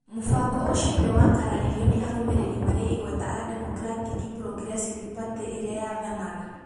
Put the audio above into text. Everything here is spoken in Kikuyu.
Mũbango ũcio nĩ wakararirio nĩ arũmĩrĩri marĩ igweta a Democratic Progressive Party (DPP) ĩrĩa yathanaga.